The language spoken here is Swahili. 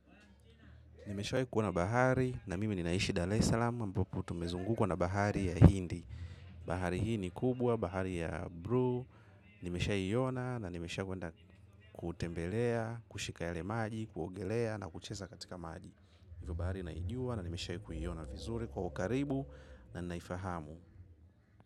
Nimeshawai kuona bahari na mimi ninaishi DareSalam ambapo tumezungukwa na bahari ya Hindi. Bahari hii ni kubwa, bahari ya Bru, nimeshai iona na nimeshakwenda kutembelea, kushika yale maji, kuogelea na kucheza katika maji. Hivyo bahari naijua na nishawahi kuiona vizuri kwa ukaribu na naifahamu.